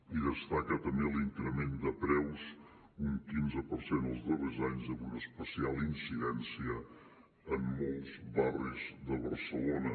i destaca també l’increment de preus un quinze per cent els darrers anys amb una especial incidència en molts barris de barcelona